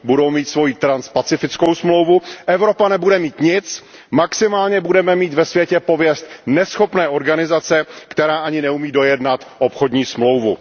Budou mít svoji transpacifickou smlouvu, Evropa nebude mít nic, maximálně budeme mít ve světě pověst neschopné organizace, která ani neumí dojednat obchodní smlouvu.